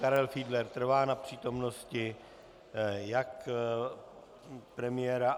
Karel Fiedler trvá na přítomnosti jak premiéra.